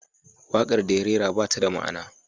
Waƙar da ya rera ba ta da ma'ana.